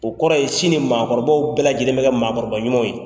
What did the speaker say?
O kɔrɔ ye sini maakɔrɔbaw bɛɛ lajɛlen bɛ kɛ maakɔrɔba ɲuman ye.